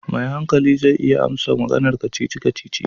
Mai hankali zai iya amsa maganar kacici kacici.